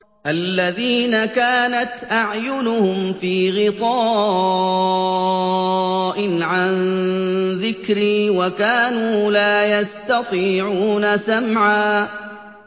الَّذِينَ كَانَتْ أَعْيُنُهُمْ فِي غِطَاءٍ عَن ذِكْرِي وَكَانُوا لَا يَسْتَطِيعُونَ سَمْعًا